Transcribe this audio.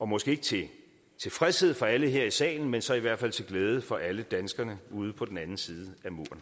måske ikke til tilfredshed for alle her i salen men så i hvert fald til glæde for alle danskerne ude på den anden side